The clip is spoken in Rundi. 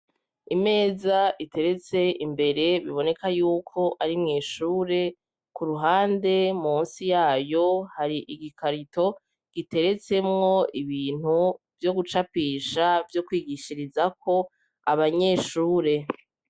Imeza iteretse imbere biboneka y'uko ari mw'ishure. Ku ruhande musi yayo hari igikarito giteretsemwo ibintu vyo gucapisha, vyo kwigishirizako abanyeshure.